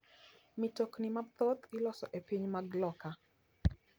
Mitokni mathoth iloso e pinje mag loka.